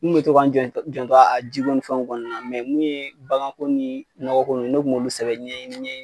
N kun be to ka n janto janto a jiko ni fɛnw kɔni na mɛ mun ye baganko ni nɔgɔko nunnu ye ne kun m'olu sɛbɛ ɲɛɲini ye nin ɲɛɲini